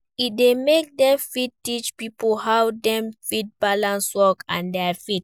E dey make dem fit teach pipo how Dem fit balance work and their faith